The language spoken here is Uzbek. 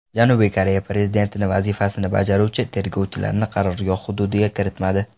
Janubiy Koreya prezidenti vazifasini bajaruvchi tergovchilarni qarorgoh hududiga kiritmadi.